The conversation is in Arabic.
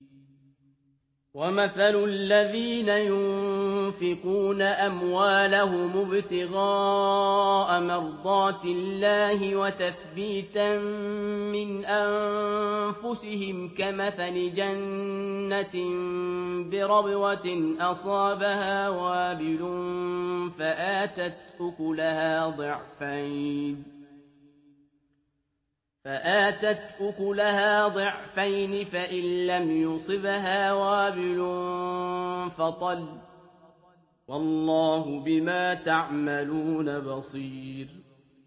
وَمَثَلُ الَّذِينَ يُنفِقُونَ أَمْوَالَهُمُ ابْتِغَاءَ مَرْضَاتِ اللَّهِ وَتَثْبِيتًا مِّنْ أَنفُسِهِمْ كَمَثَلِ جَنَّةٍ بِرَبْوَةٍ أَصَابَهَا وَابِلٌ فَآتَتْ أُكُلَهَا ضِعْفَيْنِ فَإِن لَّمْ يُصِبْهَا وَابِلٌ فَطَلٌّ ۗ وَاللَّهُ بِمَا تَعْمَلُونَ بَصِيرٌ